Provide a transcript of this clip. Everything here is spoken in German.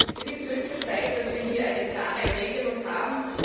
Ich glaube, es ist höchste Zeit, dass wir hier eine klare Regelung haben.